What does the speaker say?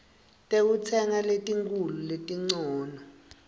tekutsenga letinkhulu letincono